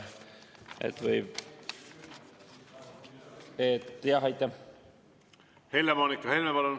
Helle-Moonika Helme, palun!